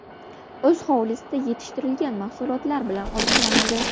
O‘z hovlisida yetishtirilgan mahsulotlar bilan oziqlanadi.